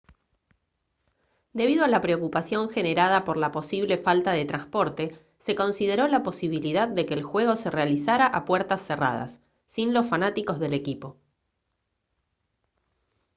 debido a la preocupación generada por la posible falta de transporte se consideró la posibilidad de que el juego se realizara a puertas cerradas sin los fanáticos del equipo